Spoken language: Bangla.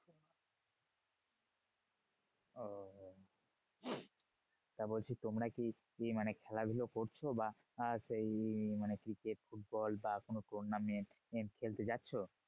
তা বলছি তোমরা কি মানে খেলাধুলো করছো? বা সেই মানে cricket ফুটবল বা কোনো tournament খেলতে যাচ্ছো?